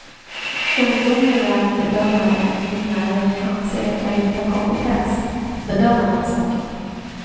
Ungdomliga bedömare i min närhet anser att jag inte har kompetens att bedöma den saken.